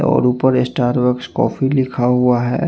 और ऊपर Starbucks coffee लिखा हुआ है।